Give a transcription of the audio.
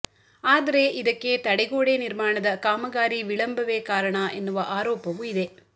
ಆದರೆ ಇದಕ್ಕೆ ತಡೆಗೋಡೆ ನಿರ್ಮಾಣದ ಕಾಮಗಾರಿ ವಿಳಂಬವೆ ಕಾರಣ ಎನ್ನುವ ಆರೋಪವು ಇದೆ